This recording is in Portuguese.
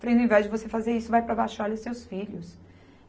Falei, no invés de você fazer isso, vai para baixo e olha os seus filhos.